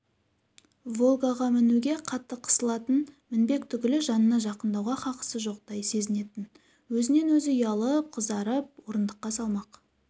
волгаға мінуге қатты қысылатын мінбек түгілі жанына жақындауға хақысы жоқтай сезінетін өз-өзінен ұялып-қызарып орындыққа салмақ